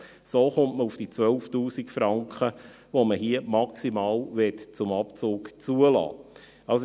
So kommt man auf die 12 000 Franken, die man hier maximal zum Abzug zulassen möchte.